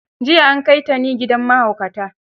Jiya an kai Tani gidan mahaukata.